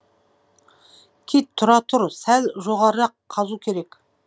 кид тұра тұр сәл жоғарырақ қазу керек